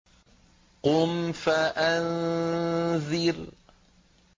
قُمْ فَأَنذِرْ